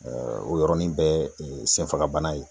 o yɔrɔnin bɛɛ senfagabana ye